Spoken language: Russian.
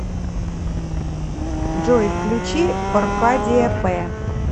джой включи оркадия пэ